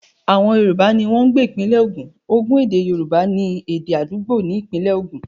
Àwọn Yorùbá ní wọ́n ń gbé ìpínlẹ Ogun, ède Yorùbá ni èdè àdúgbò ní ìpínlẹ̀ ogun.